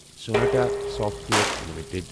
Sonata software limited